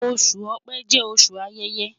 Oṣu Ọ̀pẹ jẹ oṣu ayẹyẹ